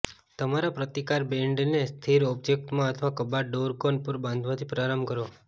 તમારા પ્રતિકાર બેન્ડને સ્થિર ઑબ્જેક્ટમાં અથવા કબાટ ડોરકોન પર બાંધવાથી પ્રારંભ કરો